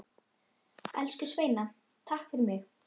Elsku Sveina takk fyrir mig.